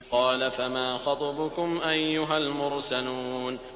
۞ قَالَ فَمَا خَطْبُكُمْ أَيُّهَا الْمُرْسَلُونَ